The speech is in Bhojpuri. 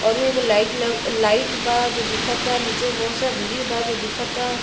ओरो एक लाइट लग लाइट बा जो दिखता नीचे बहुत सारा भिड़ बा जो दिखता।